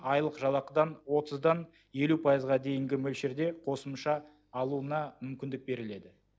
айлық жалақыдан отыздан елу пайызға дейінгі мөлшерде қосымша алуына мүмкіндік беріледі